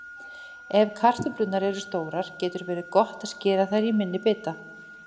Ef kartöflurnar eru stórar getur verið gott að skera þær í minni bita.